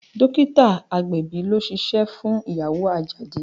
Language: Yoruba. Dókítà agbẹ̀bí ló ṣíṣe fún ìyàwó Àjàdí